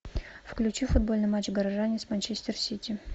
включи футбольный матч горожане с манчестер сити